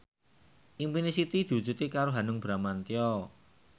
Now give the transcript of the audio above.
impine Siti diwujudke karo Hanung Bramantyo